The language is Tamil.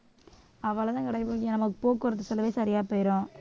அவ்வளவுதான் கிடைக்குமா இங்க நமக்கு போக்குவரத்து செலவு சரியா போயிரும்